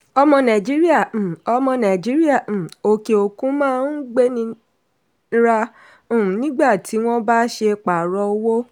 ọmọ nàìjíríà um ọmọ nàìjíríà um òkè-òkun máa n gbénira um nígbà tí wọ́n bá ṣe pààrọ̀ owó.